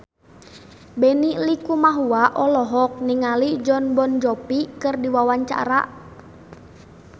Benny Likumahua olohok ningali Jon Bon Jovi keur diwawancara